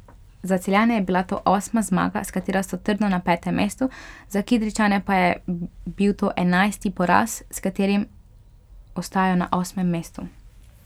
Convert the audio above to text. Za Celjane je bila to osma zmaga, s katero so trdno na petem mestu, za Kidričane pa je bil to enajsti poraz, s katerim ostajajo na osmem mestu.